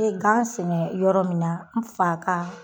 N be gan sɛnɛ yɔrɔ min na n fa ka